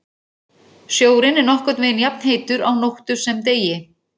Sjórinn er nokkurn veginn jafnheitur á nóttu sem degi.